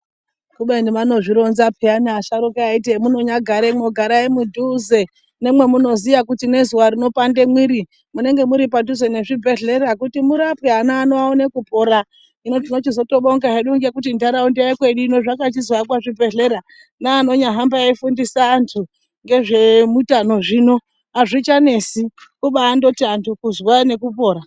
Kubeni vanozvironza peyana asharuka eite hemunonyagara garai mudhuze nemwemunoziya kuti ngezuwa rinopande mwiri munenge muripadhuze nezvibhedhlera kuti murapwe ana ano aone kupora, hino tinochizotobonga hedu ngekuti ntaraunda yekwedu ino zvakachizoakwa zvibhedhlera neanonyahamba eifundisa antu ngezveutano zvino azvichanesi kubandoti antu kuzwa nekupora.